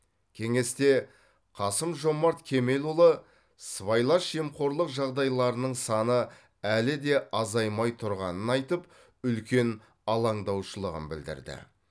кеңесте қасым жомарт кемелұлы сыбайлас жемқорлық жағдайларының саны әлі де азаймай тұрғанын айтып үлкен алаңдаушылығын білдірді